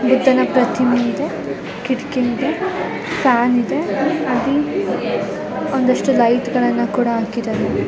ಈತನ ಪ್ರತಿಮೆ ಇದೆ ಕಿಟಕಿ ಇದೆ ಫ್ಯಾನ್ ಇದೆ ಒಂದು ಇಷ್ಟು ಲೈಟ್ಗಲ್ಲನ್ನ ಕೂಡ ಹಾಕಿದ್ದಾರೆ.